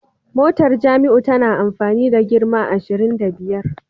Motar Jamiu tana amfani da girma ashirin da biyar